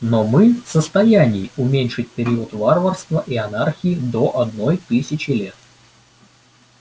но мы в состоянии уменьшить период варварства и анархии до одной тысячи лет